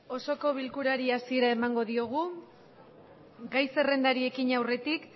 osoko bilkurari hasiera emango diogu gai zerrendari ekiñe aurretik